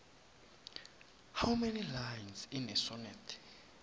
how many lines in a sonnet